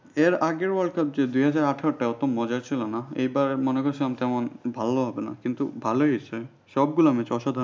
এর আগের world cup যে দুই হাজার আঠারো টা অত মজা ছিল না এবার মনে করছিলাম যে ভালো হবে না কিন্তু ভালোই হয়েছে সবগুলা match অসাধারণ ছিল।